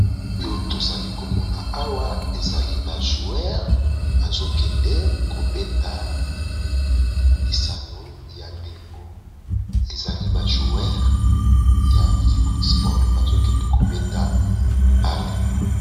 Oyo tozali komona awa ezali ba joueur bazo kende kobeta lisano ya ndembo, ezali ba joueur ya football bazo kende kobeta bale.